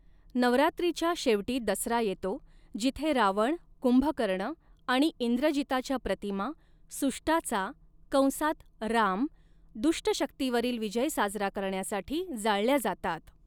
नवरात्रीच्या शेवटी दसरा येतो, जिथे रावण, कुंभकर्ण आणि इंद्रजिताच्या प्रतिमा, सुष्टाचा कंसात राम दुष्ट शक्तीवरील विजय साजरा करण्यासाठी जाळल्या जातात.